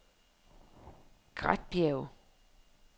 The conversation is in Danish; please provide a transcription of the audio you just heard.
Gretbjerge